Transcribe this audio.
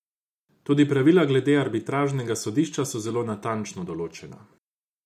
Tudi pravila glede arbitražnega sodišča so zelo natančno določena.